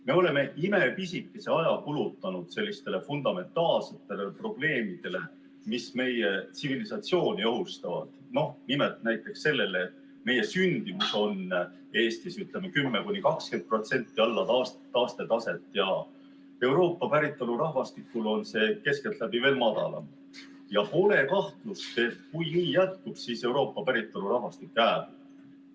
Me oleme imepisikese aja kulutanud sellistele fundamentaalsetele probleemidele, mis meie tsivilisatsiooni ohustavad, noh näiteks sellele, et meie sündimus on Eestis 10–20% alla taastetaset ja Euroopa päritolu rahvastikul on see keskeltläbi veel madalam ja pole kahtlust, et kui nii jätkub, siis Euroopa päritolu rahvastik hääbub.